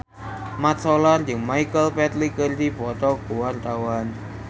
Mat Solar jeung Michael Flatley keur dipoto ku wartawan